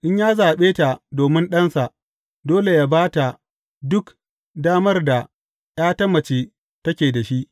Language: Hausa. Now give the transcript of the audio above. In ya zaɓe ta domin ɗansa, dole yă ba ta duk damar da ’ya ta mace take da shi.